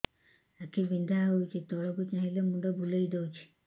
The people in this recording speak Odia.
ଆଖି ବିନ୍ଧା ହଉଚି ତଳକୁ ଚାହିଁଲେ ମୁଣ୍ଡ ବୁଲେଇ ଦଉଛି